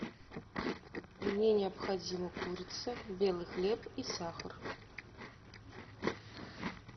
мне необходима курица белый хлеб и сахар